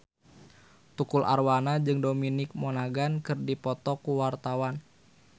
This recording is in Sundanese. Tukul Arwana jeung Dominic Monaghan keur dipoto ku wartawan